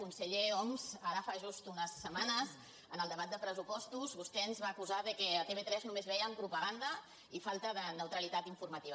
conseller homs ara fa just unes setmanes en el debat de pressupostos vostè ens va acusar que a tv3 només hi vèiem propaganda i falta de neutralitat informativa